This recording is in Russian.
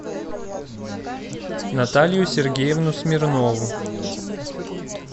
наталью сергеевну смирнову